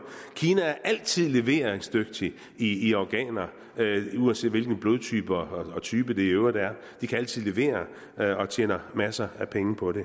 kina er altid leveringsdygtig i organer uanset hvilken blodtype og type det i øvrigt er de kan altid levere og tjener masser af penge på det